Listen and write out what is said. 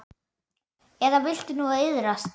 Eða viltu nú iðrast?